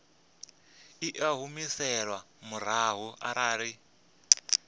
i a humiselwa murahu arali